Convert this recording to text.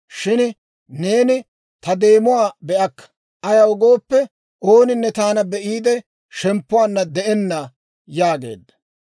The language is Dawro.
Shin neeni ta deemuwaa be"akka; ayaw gooppe, ooninne taana be'iide shemppuwaanna de'enna» yaageedda.